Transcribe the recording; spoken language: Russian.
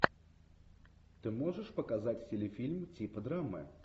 ты можешь показать телефильм типа драмы